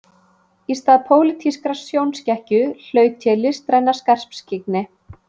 Í stað pólitískrar sjónskekkju hlaut ég listræna skarpskyggni